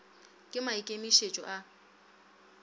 ke maikemi et o a